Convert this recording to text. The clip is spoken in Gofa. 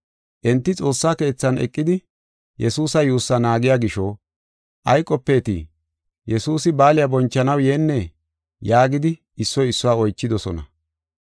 Enti xoossa keethan eqidi Yesuusa yuussaa naagiya gisho, “Ay qopeetii? Yesuusi baaliya bonchanaw yeennee?” yaagidi issoy issuwa oychidosona.